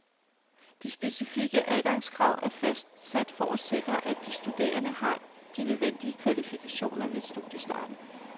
De specifikke adgangskrav er fastsat for at sikre, at de studerende har de nødvendige kvalifikationer ved studiestarten.